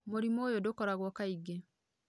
Mũrimũ ũyũ ndũkoragwo kaingĩ